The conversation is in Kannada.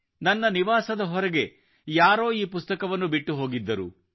ನನ್ನ ನಿವಾಸದ ಹೊರಗೆ ಯಾರೋ ಈ ಪುಸ್ತಕವನ್ನು ಬಿಟ್ಟು ಹೋಗಿದ್ದರು